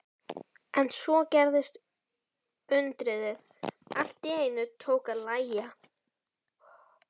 En svo gerðist undrið: Allt í einu tók að lægja.